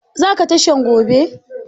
Za ka tashan gobe?